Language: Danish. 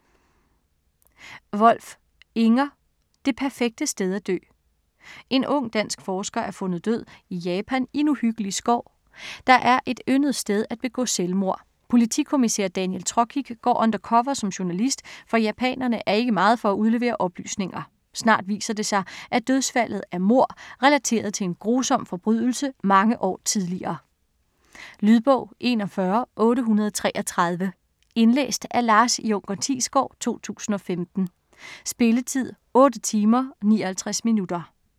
Wolf, Inger: Det perfekte sted at dø En ung, dansk forsker er fundet død i Japan, i en uhyggelig skov, der er et yndet sted at begå selvmord. Politikommissær Daniel Trokic går undercover som journalist, for japanerne er ikke meget for at udlevere oplysninger. Snart viser det sig, at dødsfaldet er mord, relateret til en grusom forbrydelse mange år tidligere. Lydbog 41833 Indlæst af Lars Junker Thiesgaard, 2015. Spilletid: 8 timer, 59 minutter.